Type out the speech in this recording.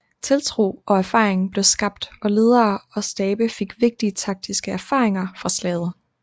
Tiltro og erfaring blev skabt og ledere og stabe fik vigtige taktiske erfaringer med fra slaget